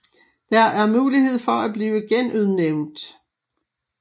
Der er mulighed for at blive genudnævnt